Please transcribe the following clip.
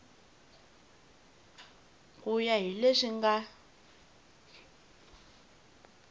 ku ya hi leswi nga